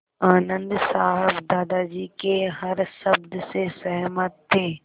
आनन्द साहब दादाजी के हर शब्द से सहमत थे